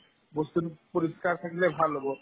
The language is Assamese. বস্তুতো পৰিষ্কাৰ থাকিলে ভাল হ'ব